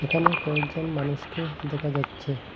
এখানে কয়েকজন মানুষকে দেখা যাচ্ছে।